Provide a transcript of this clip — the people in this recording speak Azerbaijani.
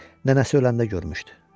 nənəsi öləndə görmüşdü.